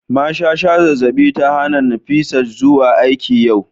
mashasha zazzabi ta hana Nifisat zuwa aiki yau